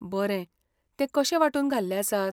बरें, ते कशे वांटून घाल्ले आसात?